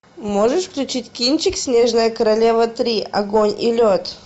можешь включить кинчик снежная королева три огонь и лед